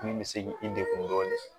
Min bɛ se k'i degun dɔɔni